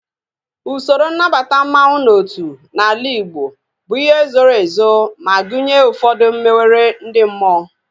Usoro nnabata mmanwu n'otu n'ala Igbo bụ ihe zoro ezo ma gụnye ụfọdụ mmewere ndị mmụọ